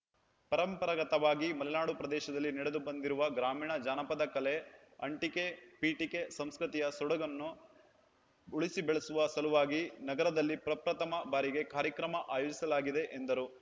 ಪರಂಪರಾಗತವಾಗಿ ಮಲೆನಾಡು ಪ್ರದೇಶದಲ್ಲಿ ನಡೆದು ಬಂದಿರುವ ಗ್ರಾಮೀಣ ಜಾನಪದ ಕಲೆ ಅಂಟಿಕೆಪಿಟಿಕೆ ಸಂಸ್ಕೃತಿಯ ಸೊಗಡನ್ನು ಉಳಿಸಿ ಬೆಳೆಸುವ ಸಲುವಾಗಿ ನಗರದಲ್ಲಿ ಪ್ರಪ್ರಥಮ ಬಾರಿಗೆ ಕಾರ್ಯಕ್ರಮ ಆಯೋಜಿಸಲಾಗಿದೆ ಎಂದರು